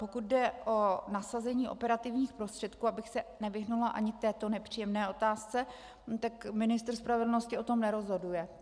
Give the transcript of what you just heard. Pokud jde o nasazení operativních prostředků, abych se nevyhnula ani této nepříjemné otázce, tak ministr spravedlnosti o tom nerozhoduje.